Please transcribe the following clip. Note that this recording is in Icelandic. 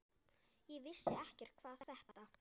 Ég vissi ekkert hvað þetta